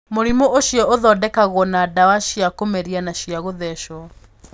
Mũrimũ ũcio ũthondekagwo na ndawa cia kũmeria na cia gũthecwo.